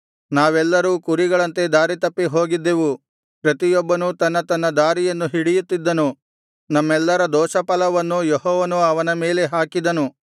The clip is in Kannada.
ನಾವೆಲ್ಲರೂ ಕುರಿಗಳಂತೆ ದಾರಿತಪ್ಪಿ ಹೋಗಿದ್ದೆವು ಪ್ರತಿಯೊಬ್ಬನೂ ತನ್ನ ತನ್ನ ದಾರಿಯನ್ನು ಹಿಡಿಯುತ್ತಿದ್ದನು ನಮ್ಮೆಲ್ಲರ ದೋಷಫಲವನ್ನೂ ಯೆಹೋವನು ಅವನ ಮೇಲೆ ಹಾಕಿದನು